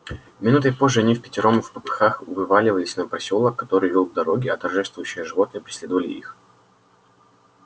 минутой позже они впятером впопыхах вывалились на просёлок который вёл к дороге а торжествующие животные преследовали их